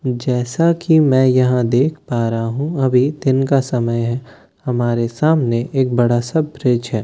जैसा कि मैं यहां देख पा रहा हूं अभी दिन का समय है हमारे सामने एक बड़ा सा ब्रिज है।